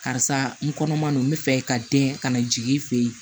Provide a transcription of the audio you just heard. Karisa n kɔnɔman don n bɛ fɛ ka den ka na jigin i fɛ ye